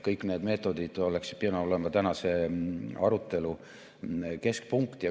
Kõik need meetodid oleks pidanud olema tänase arutelu keskpunkt.